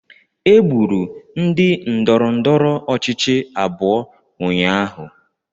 Egburu ndị ndọrọndọrọ ọchịchị abụọ ụnyaahụ